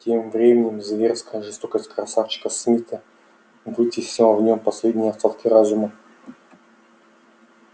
тем временем зверская жестокость красавчика смита вытеснила в нём последние остатки разума